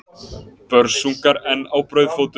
Börsungar enn á brauðfótum.